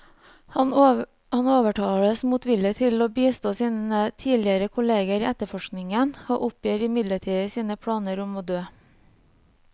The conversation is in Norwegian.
Han overtales motvillig til å bistå sine tidligere kolleger i etterforskningen, og oppgir midlertidig sine planer om å dø.